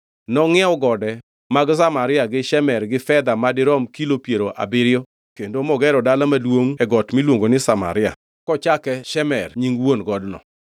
Nongʼiewo gode mag Samaria gi Shemer gi fedha ma dirom kilo piero abiriyo kendo mogero dala maduongʼ e got, miluongo ni Samaria, kochake Shemer nying wuon godno.